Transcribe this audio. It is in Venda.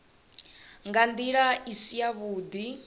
nga ndila i si yavhudi